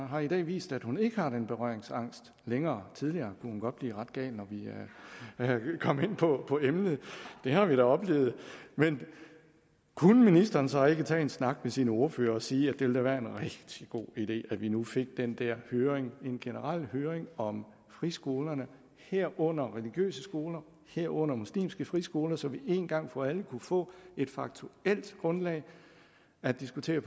har i dag vist at hun ikke har den berøringsangst længere tidligere kunne hun godt blive ret gal når vi kom ind på på emnet det har vi da oplevet men kunne ministeren så ikke tage en snak med sine ordførere og sige at det da ville være en rigtig god idé at vi nu fik den der høring en generel høring om friskolerne herunder de religiøse skoler herunder de muslimske friskoler så vi en gang for alle kunne få et faktuelt grundlag at diskutere